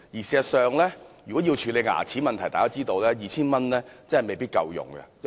事實上，如要處理牙齒問題，大家都知道 2,000 元確實未必足夠。